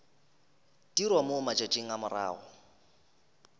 dirwa mo matšatšing a morago